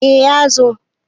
eh ya zo